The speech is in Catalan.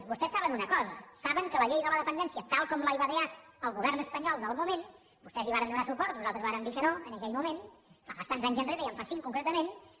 vostès saben una cosa saben que la llei de la dependència tal com la va idear el govern espanyol del moment vostès hi varen donar suport nosaltres vàrem dir que no en aquell moment fa bastants anys ja en fa cinc concretament